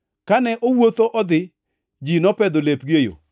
Kane owuotho odhi, ji nopedho lepgi e yo.